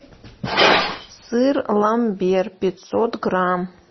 сыр ламбер пятьсот грамм